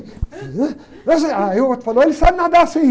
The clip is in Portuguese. Eu sei. Aí, o outro falou, ele sabe nadar, sim.